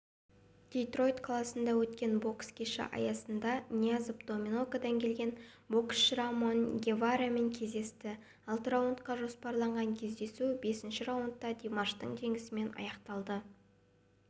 детройт қаласында өткен бокс кеші аясында ниязов доминикадан келген боксшырамон геварамен кездесті алты раундқа жоспарланған кездесу бесінші раундта димаштың жеңісімен аяқталды